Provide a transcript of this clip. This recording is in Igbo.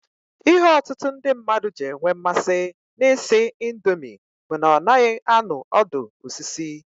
Ihe ọtụtụ ndị mmadụ ji enwe mmasị na ị sị indomi bụ na ọ naghị anụ ọdụ osisi.